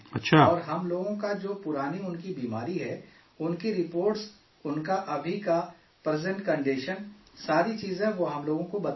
اور ہم لوگ کا جو پرانی ان کی بیماری ہے ان کی رپورٹس، ان کا ابھی کا پریزنٹ کنڈیشن ساری چیزیں وہ ہم لوگ کو بتا دیتے ہیں